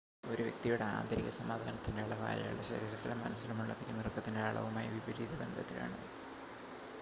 ഒരു വ്യക്തിയുടെ ആന്തരിക സമാധാനത്തിൻ്റെ അളവ് അയാളുടെ ശരീരത്തിലും മനസ്സിലുമുള്ള പിരിമുറുക്കത്തിൻ്റെ അളവുമായി വിപരീത ബന്ധത്തിലാണ്